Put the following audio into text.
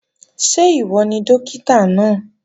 Ṣé ìwọ ni Dókítà náà?